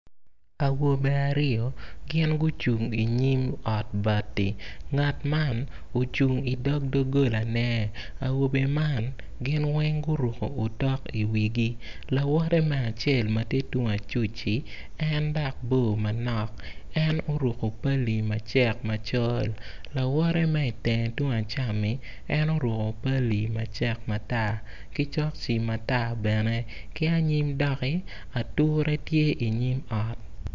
Awobe aryo gin gucung inyim ot bati ngat man ocung idoggolane awobe man gin weng guruko otok iwigi lawot me acel ma tye tung acuc-ci en dok bor manok en oruko pali macek macol lawote ma itenge tung acam-mi en oruko pali macek matar ki cokci matar bene ki anyim dokki ature tye inyim ot.